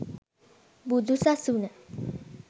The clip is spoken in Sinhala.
බුදු සසුන